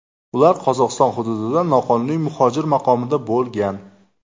Ular Qozog‘iston hududida noqonuniy muhojir maqomida bo‘lgan.